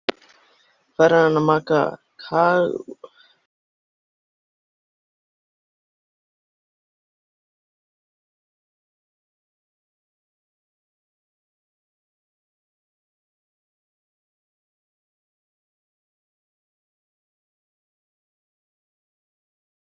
Heldurðu að þú getir alls ekki slakað til okkar tíkalli?